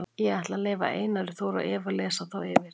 Ég ætla að leyfa Einari Þór og Evu að lesa þá yfir.